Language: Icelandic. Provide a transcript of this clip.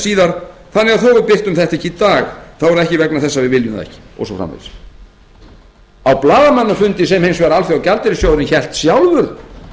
síðar þó við birtum þetta ekki í dag þá er það ekki vegna þess að við viljum það ekki og svo framvegis á blaðamannafundi sem hins vegar alþjóðagjaldeyrissjóðurinn hélt sjálfur